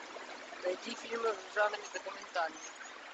найти фильмы в жанре документальный